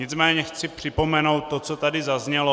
Nicméně chci připomenout to, co tady zaznělo.